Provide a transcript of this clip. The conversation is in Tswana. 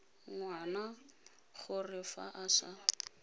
ngwana gore fa a sa